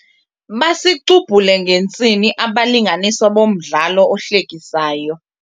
Basicubhule ngentsini abalinganiswa bomdlalo ohlekisayo.